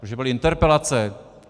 Protože byly interpelace!